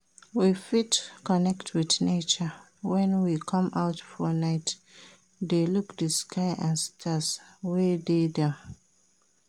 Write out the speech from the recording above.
We fit connect with nature when we come out for night de look di sky and stars wey de am